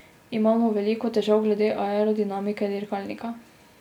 Imamo veliko težav glede aerodinamike dirkalnika.